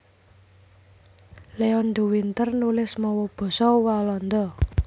Leon de Winter nulis mawa basa Walanda